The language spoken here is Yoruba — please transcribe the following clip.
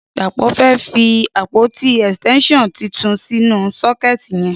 Dapo fẹ́ fi ápótí ẹstẹnṣiọn tútún sinú sọkẹti yẹn